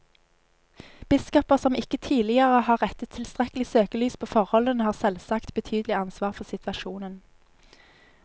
Biskoper som ikke tidligere har rettet tilstrekkelig søkelys på forholdene, har selvsagt betydelig ansvar for situasjonen.